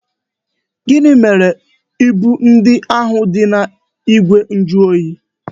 Gịnị mere ibu ndị ahụ dị n'igwe njuoyi?